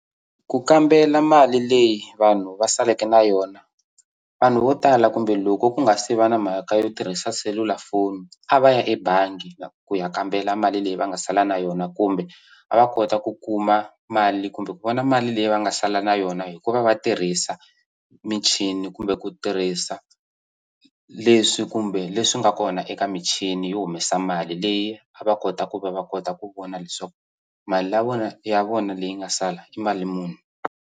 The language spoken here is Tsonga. Ku kambela mali leyi vanhu va saleke na yona vanhu vo tala kumbe loko ku nga se va na mhaka yo tirhisa selulafoni a va ya ebangi ku ya kambela mali leyi va nga sala na yona kumbe va va kota ku kuma mali kumbe ku vona mali leyi va nga sala na yona hikuva va tirhisa michini kumbe ku tirhisa leswi kumbe leswi nga kona eka michini yo humesa mali leyi a va kota ku va va kota ku vona leswaku mali ya vona ya vona leyi nga sala i mali muni.